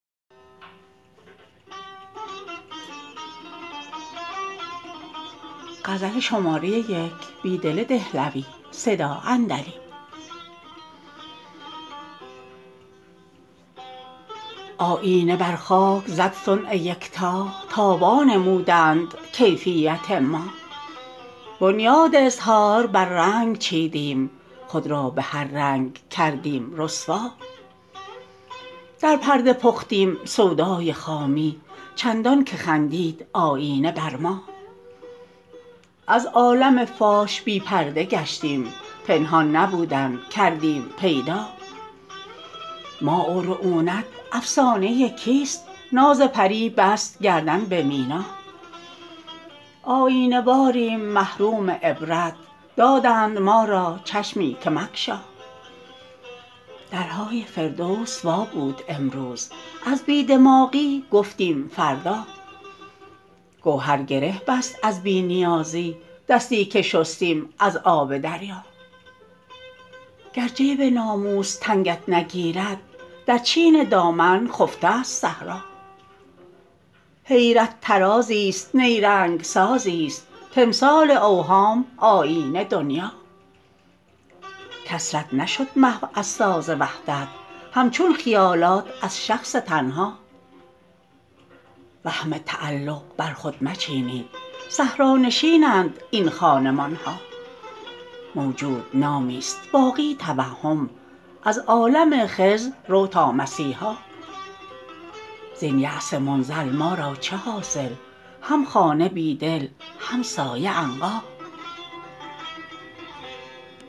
آیینه بر خاک زد صنع یکتا تا وانمودند کیفیت ما بنیاد اظهار بر رنگ چیدیم خود را به هر رنگ کردیم رسوا در پرده پختیم سودای خامی چندان که خندید آیینه بر ما از عالم فاش بی پرده گشتیم پنهان نبودن کردیم پیدا ما و رعونت افسانه کیست ناز پری بست گردن به مینا آیینه واریم محروم عبرت دادند ما را چشمی که مگشا درهای فرد وس وا بود امروز از بی دماغی گفتیم فردا گو هر گره بست از بی نیازی دستی که شستیم از آب دریا گر جیب ناموس تنگت نگیرد در چین د امن خفته ست صحرا حیرت طرازی ست نیرنگ سازی ست تمثال اوهام آیینه دنیا کثرت نشد محو از ساز وحدت هم چون خیالات از شخص تنها وهم تعلق بر خود مچینید صحرانشین اند این خانمان ها موجود نامی است باقی توهم از عالم خضر رو تا مسیحا زین یأس منزل ما را چه حاصل هم خانه بیدل هم سایه عنقا